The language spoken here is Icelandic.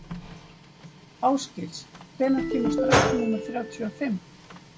Ásgils, hvenær kemur strætó númer þrjátíu og fimm?